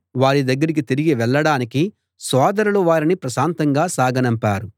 వారి దగ్గరికి తిరిగి వెళ్ళడానికి సోదరులు వారిని ప్రశాంతంగా సాగనంపారు